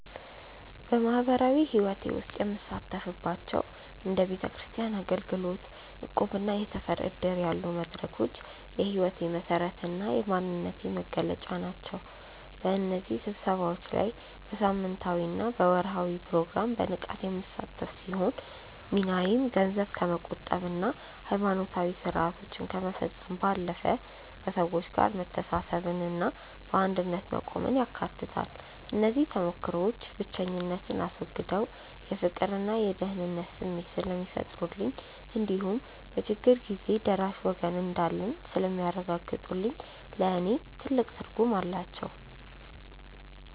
በማኅበራዊ ሕይወቴ ውስጥ የምሳተፍባቸው እንደ ቤተክርስቲያን አገልግሎት፣ እቁብና የሰፈር ዕድር ያሉ መድረኮች የሕይወቴ መሠረትና የማንነቴ መገለጫ ናቸው። በእነዚህ ስብሰባዎች ላይ በሳምንታዊና በወርኃዊ ፕሮግራም በንቃት የምሳተፍ ሲሆን፣ ሚናዬም ገንዘብ ከመቆጠብና ሃይማኖታዊ ሥርዓቶችን ከመፈጸም ባለፈ፣ ከሰዎች ጋር መተሳሰብንና በአንድነት መቆምን ያካትታል። እነዚህ ተሞክሮዎች ብቸኝነትን አስወግደው የፍቅርና የደህንነት ስሜት ስለሚፈጥሩልኝ እንዲሁም በችግር ጊዜ ደራሽ ወገን እንዳለኝ ስለሚያረጋግጡልኝ ለእኔ ትልቅ ትርጉም አላቸው።